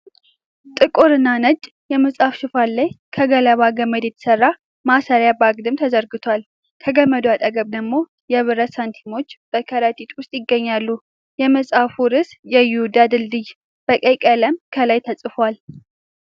ጥቁርና ነጭ የመጽሐፍ ሽፋን ላይ ከገለባ ገመድ የተሰራ ማሰሪያ በአግድም ተዘርግቷል። ከገመዱ አጠገብ ደግሞ የብረት ሳንቲሞች በከረጢት ውስጥ ይገኛሉ። የመጽሐፉ ርዕስ "የይሁዳ ድልድልይ" በቀይ ቀለም ከላይ ተጽፏል።